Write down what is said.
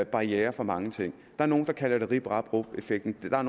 barrierer for mange ting er nogle der kalder det rip rap rup effekten og